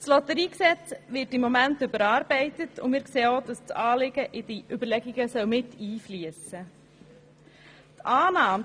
Das Lotteriegesetz (LotG) wird im Moment überarbeitet, und wir sehen, dass das Anliegen in diese Überlegungen mit einfliessen sollte.